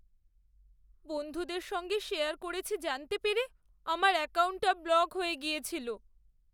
বন্ধুদের সঙ্গে শেয়ার করছি জানতে পেরে আমার অ্যাকাউন্টটা ব্লক হয়ে গিয়েছিলো।